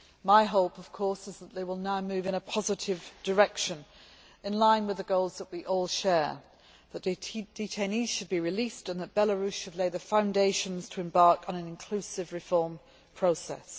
My hope is, of course, that they will now move in a positive direction, in line with the goals that we all share. The detainees should be released and Belarus should lay the foundations to embark on an inclusive reform process.